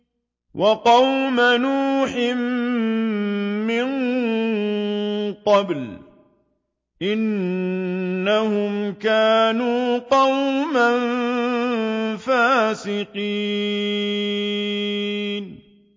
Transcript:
وَقَوْمَ نُوحٍ مِّن قَبْلُ ۖ إِنَّهُمْ كَانُوا قَوْمًا فَاسِقِينَ